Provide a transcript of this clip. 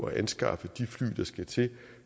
at anskaffe de fly der skal til